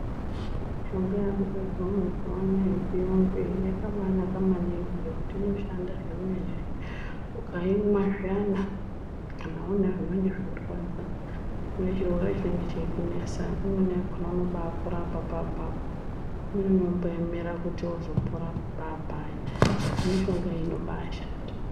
Mishonga yaakugadzirwa mazuwa anaa yechiyungu iyi yakabaanaka maningi ngekuti inoshanda zvemene, ukaimwa zviyana kana uine zvinenge zveirwadza une chirwere chinenge chekunesa imweni yakhona unobaapora apapo apapo, imweni unomboemera kuti uzopora paapaya, mishonga inobaashanda.